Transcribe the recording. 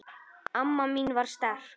Amma mín var sterk.